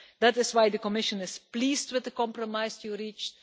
That is why the Commission is pleased with the compromise you reached.